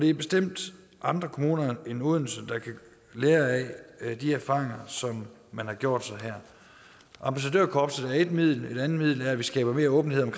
er bestemt andre kommuner end odense der kan lære af de erfaringer som man har gjort sig her ambassadørkorpset er ét middel et andet middel er at vi skaber mere åbenhed om